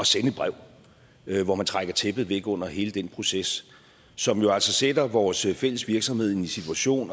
sende et brev hvor man trækker tæppet væk under hele den proces som jo altså sætter vores fælles virksomhed i en ny situation